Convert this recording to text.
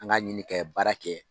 An ka ɲini kɛ baara kɛ.